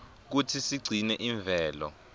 kutsi sigcine imvelo